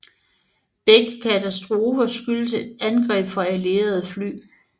Begge katastrofer skyldtes angreb fra alliererede fly